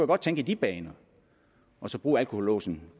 godt tænke i de baner og så bruge alkohollåsen